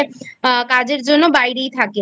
আহ কাজের জন্য বাইরেই থাকে